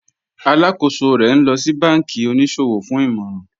Alákọsọ̀ rè ní lọ sí bánkí oníṣọwọ̀ fún ìmọ̀ràn